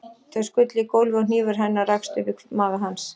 Þau skullu í gólfið og hnífur hennar rakst upp í maga hans.